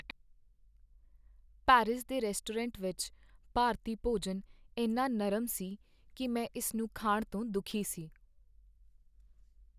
Paris ਦੇ restaurant ਵਿੱਚ ਭਾਰਤੀ ਭੋਜਨ ਇੰਨਾ ਨਰਮ ਸੀ ਕੀ ਮੈਂ ਇਸ ਨੂੰ ਖਾਣ ਤੋਂ ਦੁਖੀ ਸੀ।